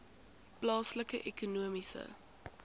plaaslike ekonomiese